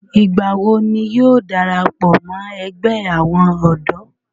ìgbà wo ni yóò darapọ̀ mọ́ ẹgbẹ́ àwọn ọ̀dọ́?